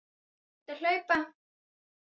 Fer út að hlaupa.